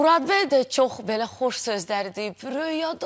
Murad bəy də çox belə xoş sözlər deyib.